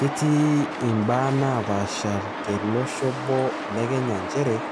ketii ibaa naaasha telosho obo le kenya, nchere,